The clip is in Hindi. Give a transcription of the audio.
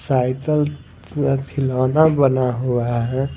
साइकिल पूरा खिलौना बना हुआ है ।